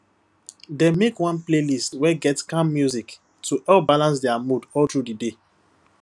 dem make one playlist wey get calm music to help balance their mood all through the day